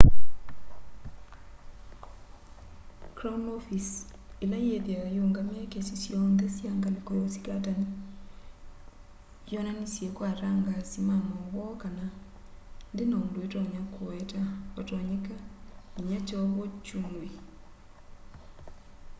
crown office ila yithiawa iungamie kesi syonthe sya ngaliko ya usikatani yonanisye kwa atangasi ma mauvoo kana ndina undu itonya kuweta vatonyeka nginya kyovo kyumw'e